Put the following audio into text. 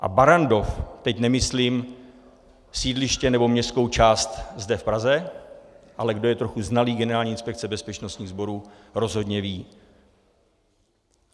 A Barrandov - teď nemyslím sídliště nebo městskou část zde v Praze, ale kdo je trochu znalý Generální inspekce bezpečnostních sborů, rozhodně ví.